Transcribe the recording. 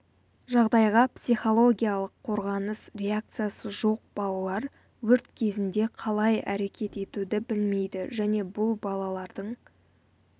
жағдайға психологиялық қорғаныс реакциясы жоқ балалар өрт кезінде қалай әрекет етуді білмейді және бұл балалардың